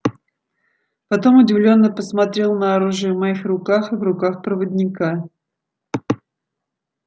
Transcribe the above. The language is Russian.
потом удивлённо посмотрел на оружие в моих руках и в руках проводника